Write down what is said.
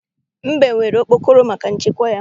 Mbe nwere okpokoro maka nchekwa ya.